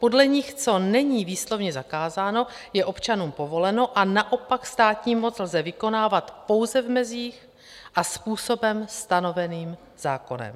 Podle nich co není výslovně zakázáno, je občanům povoleno a naopak státní moc lze vykonávat pouze v mezích a způsobem stanoveným zákonem.